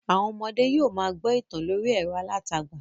Àwọn ọmọdẹ́ yóò ma gbọ́ ìtàn lórí ẹ̀rọ alátagbà